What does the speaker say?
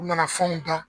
U nana fɛnw dan